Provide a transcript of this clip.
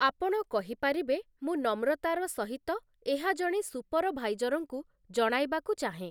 ଆପଣ କହିପାରିବେ, 'ମୁଁ, ନମ୍ରତାର ସହିତ, ଏହା ଜଣେ ସୁପରଭାଇଜରଙ୍କୁ କଣାଇବାକୁ ଚାହେଁ ।